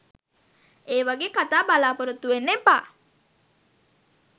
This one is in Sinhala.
ඒ වගේ කතා බලාපොරොත්තු වෙන්න එපා.